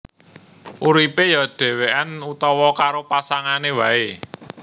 Uripé ya dhèwèkan utawa karo pasangané waé